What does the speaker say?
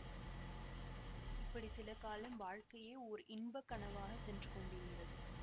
இப்படி சில காலம் வாழ்க்கையே ஓர் இன்பக் கனவாகச் சென்று கொண்டிருந்தது